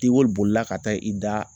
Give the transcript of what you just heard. Degoli bolila ka taa i da